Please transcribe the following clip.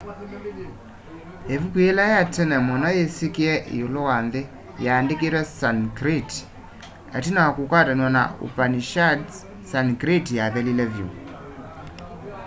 ivuku yila ya tene muno yisikie iulu wa nthi yaandikiwe sanskrit itina wa kukwatanwa na upanishads sanskrit yathelile vyu